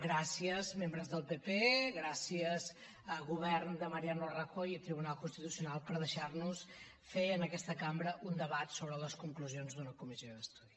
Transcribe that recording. gràcies membres del pp gràcies govern de mariano rajoy i tribunal constitucional per deixar nos fer en aquesta cambra un debat sobre les conclusions d’una comissió d’estudi